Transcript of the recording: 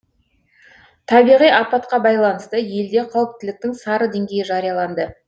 табиғи апатқа байланысты елде қауіптіліктің сары деңгейі жарияланды